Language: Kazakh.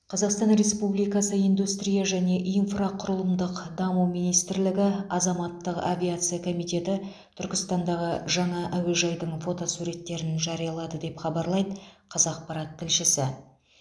қазақстан республикасы индустрия және инфрақұрылымдық даму министрлігі азаматтық авиация комитеті түркістандағы жаңа әуежайдың фотосуреттерін жариялады деп хабарлайды қазақпарат тілшісі